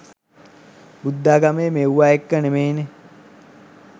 බුද්ධාගමේ මෙව්ව එක නෙමේනේ.